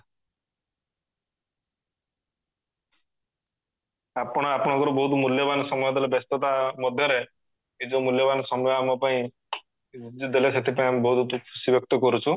ଆପଣ ଆପଣଙ୍କର ବହୁତ ମୂଲ୍ୟବାନ ସମୟ ଦେଲେ ବ୍ୟସ୍ତତା ମଧ୍ୟରେ ଏ ଯୋଉ ମୂଲ୍ୟବାନ ସମୟ ଆମପାଇଁ ଯଉ ଦେଲେ ସେଥିପାଇଁ ଆମେ ବୋହୁତ ଖୁସି ବ୍ୟକ୍ତ କରୁଛୁ